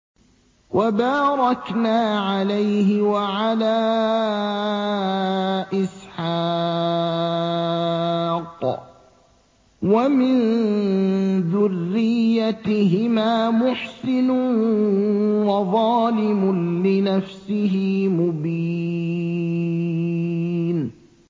وَبَارَكْنَا عَلَيْهِ وَعَلَىٰ إِسْحَاقَ ۚ وَمِن ذُرِّيَّتِهِمَا مُحْسِنٌ وَظَالِمٌ لِّنَفْسِهِ مُبِينٌ